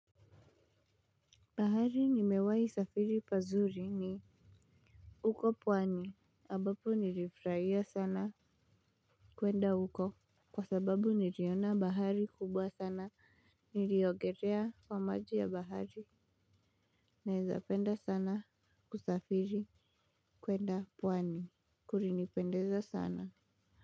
Bahari nimewahi safiri pazuri ni uko pwani, ambapo nilifurahia sana kwenda huko. Kwa sababu niliona bahari kubwa sana, niliogelea kwa maji ya bahari naezapenda sana kusafiri kwenda pwani, kulinipendeza sana.